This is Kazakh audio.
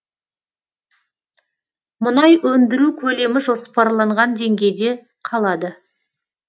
мұнай өндіру көлемі жоспарланған деңгейде қалады